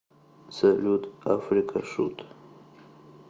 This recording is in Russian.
салют африка шут